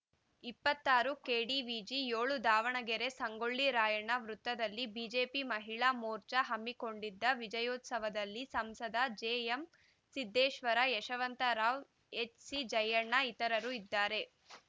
ಇಪ್ಪತ್ತಾರು ಕೆಡಿವಿಜಿ ಏಳು ದಾವಣಗೆರೆ ಸಂಗೊಳ್ಳಿ ರಾಯಣ್ಣ ವೃತ್ತದಲ್ಲಿ ಬಿಜೆಪಿ ಮಹಿಳಾ ಮೋರ್ಚಾ ಹಮ್ಮಿಕೊಂಡಿದ್ದ ವಿಜಯೋತ್ಸವದಲ್ಲಿ ಸಂಸದ ಜೆ ಎಂಸಿದ್ದೇಶ್ವರ ಯಶವಂತರಾವ್‌ ಎಚ್‌ಸಿಜಯಣ್ಣ ಇತರರು ಇದ್ದಾರೆ